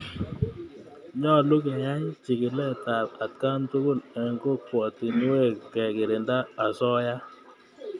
Nyalu keyai chikilet ap atkan tukul eng' kokwatunwek kekirinda asoya.